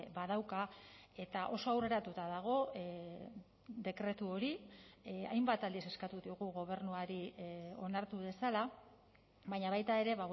badauka eta oso aurreratuta dago dekretu hori hainbat aldiz eskatu diogu gobernuari onartu dezala baina baita ere